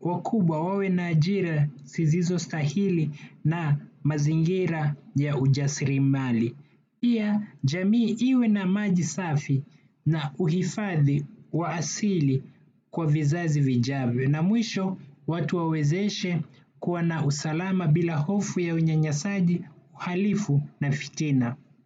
wakubwa wawe na ajira zisizo stahili na mazingira ya ujasirimali. Pia jamii iwe na maji safi na uhifadhi wa asili kwa vizazi vijavyo. Na mwisho watu wawezeshe kuwa na usalama bila hofu ya unyanyasaji uhalifu na fitina.